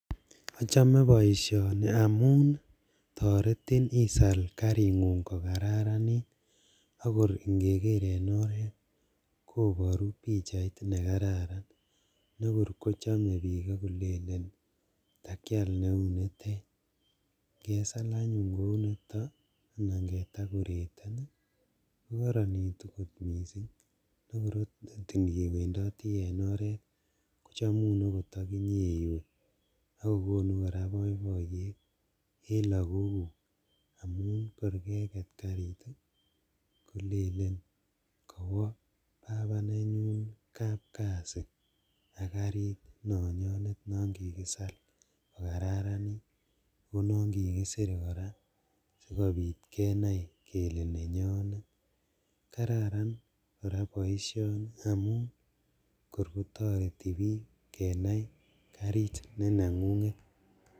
Ochome boisioni amun toreti isal karingung kokararanit akor ingeker en oret koboru pichait nekararan nekor kochome bik ok kolelen takial neunitet, ingesal anyun kounitet anan kedekoreten kokoronitu kot missing' akor ot kor iniwendoti en oret kochomum okot okinye iwe ak kokonu koraa boiboiyet en lagoguk amun kor keket karit ii, kolelen kowo baba nenyuun kapkasi ak karit nonyonet non kikisal kokararanit oo non kikisir koraa sikobit kenai kele nenyonet, kararan koraa boisioni amun kor kotoreti bik kenai karit nenengunget.